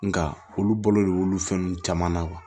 Nka olu bolo de b'olu fɛn ninnu caman na